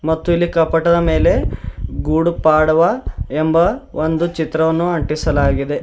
ಮತ್ತು ಇಲ್ಲಿ ಕಪಟದ ಮೇಲೆ ಗೂಡು ಪಡ್ವಾ ಎಂಬ ಒಂದು ಚಿತ್ರವನ್ನು ಅಂಟಿಸಲಾಗಿದೆ.